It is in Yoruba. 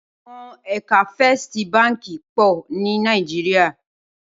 Awòn èkà Fèstí bànkí pò ni Nàijiriá